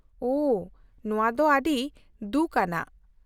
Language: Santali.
-ᱳᱦ, ᱱᱚᱣᱟ ᱫᱚ ᱟᱹᱰᱤ ᱫᱩᱠᱷ ᱟᱱᱟᱜ ᱾